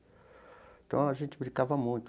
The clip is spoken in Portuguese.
Então, a gente brincava muito.